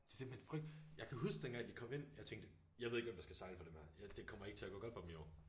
Det simpelthen jeg kan huske dengang de kom ind jeg tænkte jeg ved ikke hvem der skal sejle for dem her jeg det kommer ikke til at gå godt for dem i år